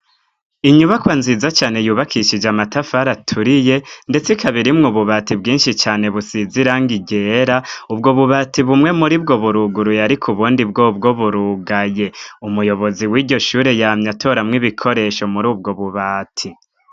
Inyubakwa nziza cane yubakishije amatafari aturiye, ndetse ikaba irimwo ububati bwinshi cane busize irangi ryera. Ubwo bubati bumwe muri bwo buruguruye ariko ubundi bwobwo burugaye. Umuyobozi w'iryo shure yamye atoramwo ibikoresho muri ubwo bubati.